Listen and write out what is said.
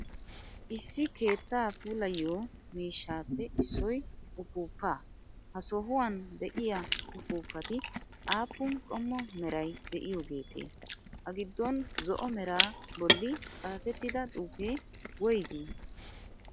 Issi keettaa puulayiyo miishshappe issoy uppuppaa, ha sohuwan de'iya uppuppati aappun qommo meray de'iyogetee? A giddon zo"o meraa bolli xaafetida xuufee woygii?